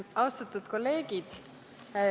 Austatud kolleegid!